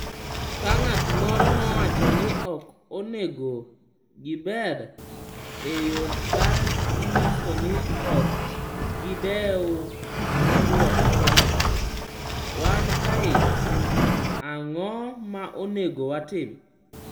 Ka ng’at moro nowacho ni ok onego gibed e yo ka ginyiso ni ok gidew, nodwoko kama: “Wan kae, ang’o ma onego watim?”